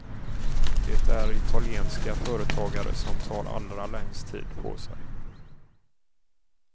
Det är italienska företagare som tar allra längst tid på sig.